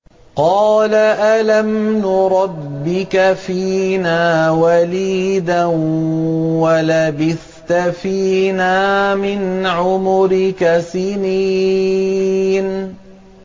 قَالَ أَلَمْ نُرَبِّكَ فِينَا وَلِيدًا وَلَبِثْتَ فِينَا مِنْ عُمُرِكَ سِنِينَ